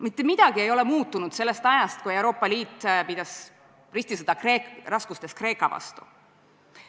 Mitte midagi ei ole muutunud sellest ajast, kui Euroopa Liit pidas ristisõda raskustesse sattunud Kreeka vastu.